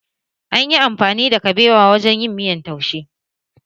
An yi amfani da kabewa wajen yin miyan taushe